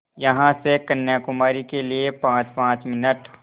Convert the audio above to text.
यहाँ से कन्याकुमारी के लिए पाँचपाँच मिनट